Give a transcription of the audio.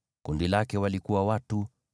Kundi lake lina watu 54,400.